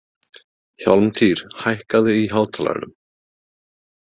Hjálmtýr, hækkaðu í hátalaranum.